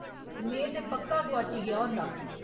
में ते पक्का गोआची गेआ होंदा।